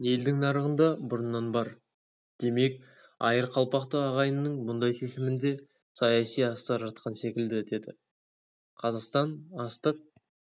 елдің нарығында бұрыннан бар демек айырқалпақты ағайынның мұндай шешімінде саяси астар жатқан секілді дедіқазақстан астық